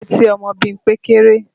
Etí ọmọ Bímpé kéré